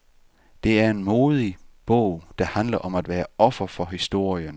Det er en modig bog, der handler om at være offer for historien.